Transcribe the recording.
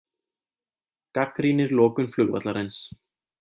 Gagnrýnir lokun flugvallarins